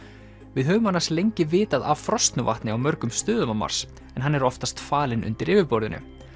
við höfum annars lengi vitað af frosnu vatni á mörgum stöðum á Mars en hann er oftast falinn undir yfirborðinu